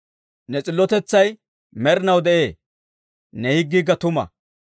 Ne s'illotetsay med'inaw de'ee; ne higgiikka tuma.